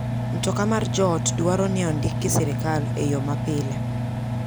Mtoka mar joot dwaro ni ondik gi sirkal e yo mapile.